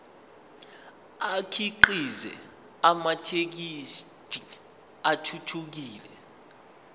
akhiqize amathekisthi athuthukile